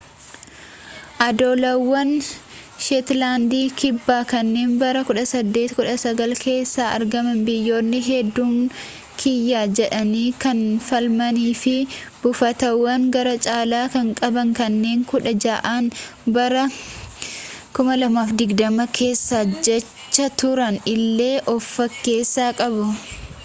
odolawwan sheetlandi kibbaa kanneen bara 1819 keessa argaman biyyoonni hedduun kiyya jedhanii kan falmanii fi buufatawwan gara caalan kan qaban kanneen kudha ja'an bara 2020 keessa hojjetaa turan illee of keessaa qabu